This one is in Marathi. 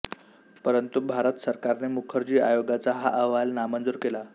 परंतु भारत सरकारने मुखर्जी आयोगाचा हा अहवाल नामंजूर केला